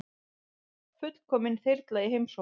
Fullkomin þyrla í heimsókn